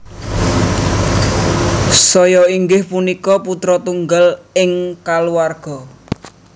Seohyoen inggih punika putra tunggal ing keluarga